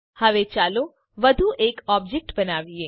હવે ચાલો વધુ એક ઓબજેક્ટ બનાવીએ